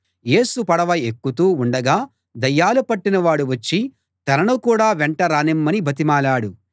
యేసు పడవ ఎక్కుతూ ఉండగా దయ్యాలు పట్టినవాడు వచ్చి తనను కూడా వెంట రానిమ్మని బతిమాలాడు